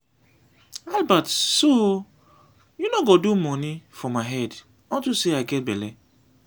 albert so you no go do money for my head unto say i get bele.